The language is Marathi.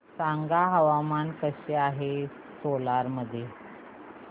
सांगा हवामान कसे आहे सोलान मध्ये